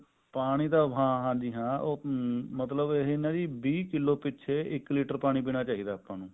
ਪਾਣੀ ਤਾਂ ਹਾਂਜੀ ਹਾਂ ਹਮ ਨਾ ਮਤਲਬ ਇਹ ਵੀਹ ਕਿੱਲੋ ਪਿੱਛੇ ਇੱਕ ਲੀਟਰ ਪਾਣੀ ਪੀਣਾ ਚਾਹੀਦਾ